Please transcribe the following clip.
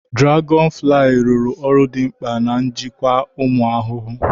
Dụlagọnụ fụlaayị rụru ọrụ dị mkpa n'ịjịkwa ụmụ ahụhụ.